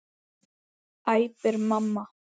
æpir mamma.